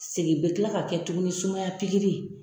Segin bɛ kila ka kɛ tuguni ni sumaya pikiri